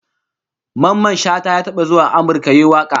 Mamman Shata ya taba zuwa Amurka yayi waka